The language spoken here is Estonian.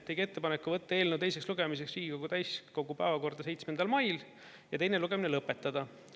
Tegi ettepaneku võtta eelnõu teiseks lugemiseks Riigikogu täiskogu päevakorda 7. mail ja teine lugemine lõpetada.